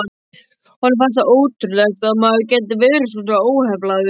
Honum fannst það ótrúlegt að maður gæti verið svona óheflaður.